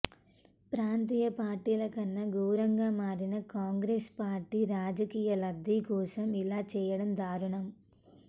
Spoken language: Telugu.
ప్రాంతీయ పార్టీల కన్నా ఘోరంగా మారిన కాంగ్రెస్ పార్టీ రాజకీయ లబ్ది కోసం ఇలా చేయడం దారుణం